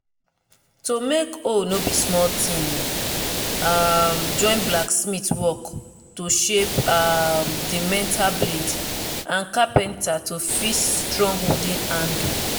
to make hoe no be small ting e um join blacksmith work to shape um the metal blade and carpenter to fix strong wooden handle